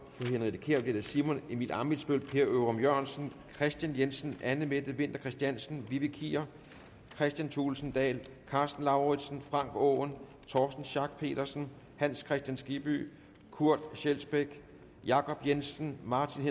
henriette kjær bliver det simon emil ammitzbøll per ørum jørgensen kristian jensen anne mette winther christiansen vivi kier kristian thulesen dahl karsten lauritzen frank aaen torsten schack pedersen hans kristian skibby kurt scheelsbech jacob jensen martin